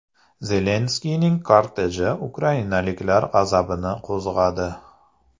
Zelenskiyning korteji ukrainaliklar g‘azabini qo‘zg‘adi .